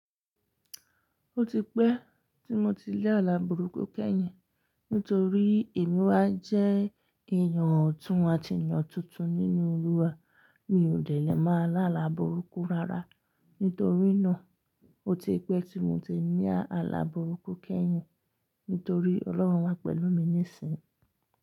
Ó ti pẹ́ tí mo ti rí ààlà burúkú kẹ́yìn, nítorí èmi wá jẹ́ èèyàn ọ̀tún àti eyàn tuntun nínú Olúwa. Mi ò dè lè ma lààlà burúkú rárá, nítorí náà ó ti pẹ́ tí mo ti ni ààlà burúkú kẹ́yìn, nítorí Ọlọ́run wà pẹ̀lú mi nísìnyí.